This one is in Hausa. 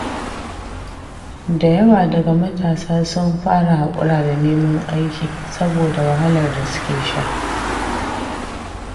Da yawa daga matasa sun fara haƙura da neman aiki, saboda wahalar da suke sha.